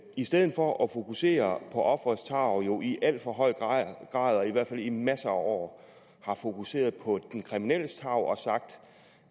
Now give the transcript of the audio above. i stedet for at fokusere på offerets tarv jo i alt for høj grad og i hvert fald i masser af år har fokuseret på den kriminelles tarv og sagt